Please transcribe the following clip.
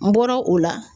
N bɔra o la